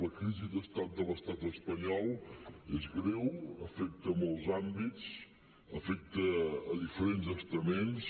la crisi d’estat de l’estat espanyol és greu afecta molts àmbits afecta diferents estaments